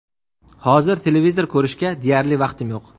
Hozir televizor ko‘rishga deyarli vaqtim yo‘q.